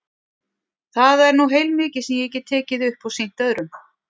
Það er nú heilmikið sem ég get tekið upp og sýnt öðrum.